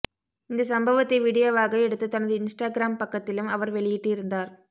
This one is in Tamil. இந்த சம்பவத்தை வீடியோவாக எடுத்து தனது இன்ஸ்டாகிராம் பக்கத்திலும் அவர் வெளியிட்டு இருந்தார்